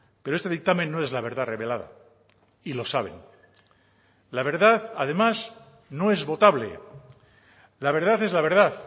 pero este dictamen no es la verdad revelada y lo saben la verdad además no es votable la verdad es la verdad